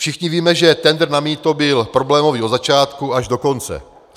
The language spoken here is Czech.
Všichni víme, že tendr na mýto byl problémový od začátku až do konce.